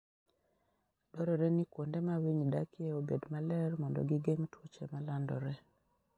Dwarore ni kuonde ma winy dakie obed maler mondo gigeng' tuoche ma landore.